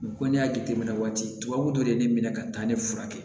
ko n'i y'a jateminɛ waati tubabu dɔ ye ne minɛ ka taa ne furakɛ